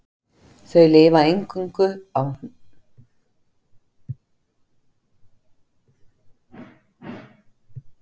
Þau lifa einungis á hlýjum búsvæðum svo sem eyðimörkum en þó einkum í regnskógum.